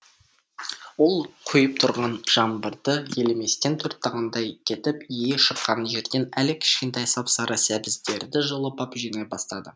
ол құйып тұрған жаңбырды елеместен төрт тағандай кетіп иі шыққан жерден әлі кішкентай сап сары сәбіздерді жұлып ап жинай бастады